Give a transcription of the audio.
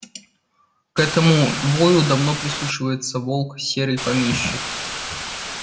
к этому вою давно прислушивается волк серый помещик